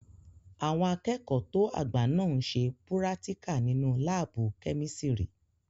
Àwọn akẹ́kọ̀ọ́ tó àgbà náà n ṣe púrátíkà nínu láàbù-kẹ́mísírì